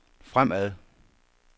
fremad